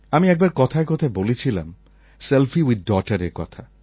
আমি একবার কথায় কথায় বলেছিলাম সেলফি উইথ daughterএর কথা